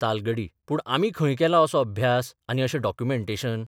तालगडी पूण आमी खंय केला असो अभ्यास आनी अशें डॉक्युमेंटेशन?